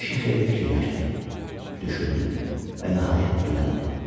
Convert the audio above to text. Kişi xeyli fikirləşdi, düşündü və nəhayət dilləndi.